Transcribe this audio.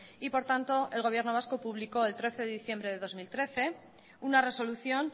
y por tanto el gobierno vasco publicó el trece de diciembre de dos mil trece una resolución